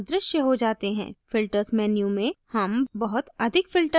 filters menu में हम बहुत अधिक filters देख सकते हैं